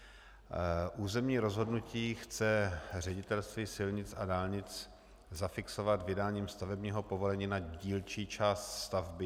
Územní rozhodnutí chce Ředitelství silnic a dálnic zafixovat vydáním stavebního povolení na dílčí část stavby.